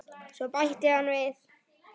Svo bætti hann við